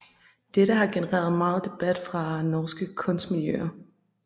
Dette har genereret meget debat fra norske kunstmiljøer